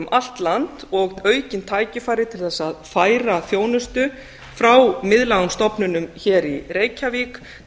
allt land og aukin tækifæri til þess að færa þjónustu frá miðlægum stofnunum hér í reykjavík